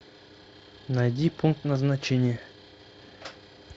найди пункт назначения